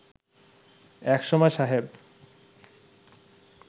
এক সময় সাহেব